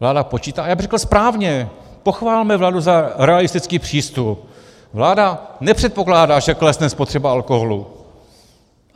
Vláda počítá - a já bych řekl správně, pochvalme vládu za realistický přístup, vláda nepředpokládá, že klesne spotřeba alkoholu.